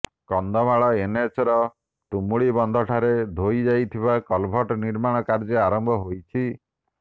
କନ୍ଧମାଳ ଏନଏଚର ତୁମୁଡ଼ିବନ୍ଧ ଠାରେ ଧୋଇ ଯାଇଥିବା କଲଭର୍ଟ ନିର୍ମାଣ କାର୍ଯ୍ୟ ଆରମ୍ଭ ହୋଇଛି